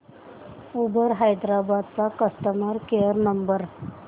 Uber Hyderabad चा customer care number